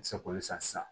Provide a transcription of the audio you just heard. Se k'olu san sisan